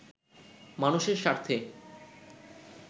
মানুষের স্বার্থে